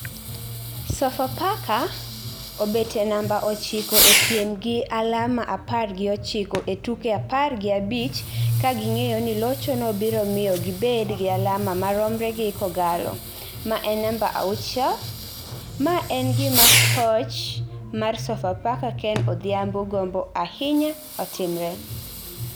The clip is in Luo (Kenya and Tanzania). Sofapaka obet e namba ochiko e piem gi alama apar gi ochiko e tuke apar gi abich ka ging'eyo ni lochono biro miyo gibed gi alama maromre gi K'Ogalo ma en namba auchiel, ma en gima koch mar Sofapaka Ken Odhiambo gombo ahinya otimre.